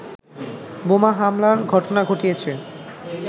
বোমা হামলার ঘটনা ঘটিয়েছে